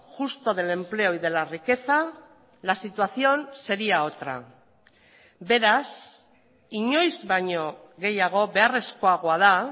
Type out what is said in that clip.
justo del empleo y de la riqueza la situación sería otra beraz inoiz baino gehiago beharrezkoagoa da